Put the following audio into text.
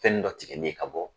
Fɛn dɔ tigɛli ye ka bɔ